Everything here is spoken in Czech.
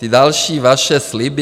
Ty další vaše sliby...